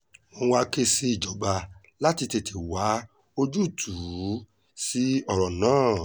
wọ́n wáá ké sí ìjọba láti tètè wá ojútùú sí ọ̀rọ̀ náà